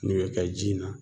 Nin be kɛ ji in na